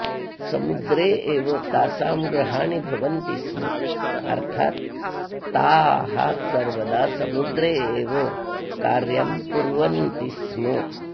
समुद्रे एव तासां गृहाणि भवन्ति स्म अर्थात् ताः सर्वदा समुद्रे एव कार्यं कुर्वन्ति स्म